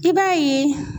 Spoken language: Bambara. I b'a ye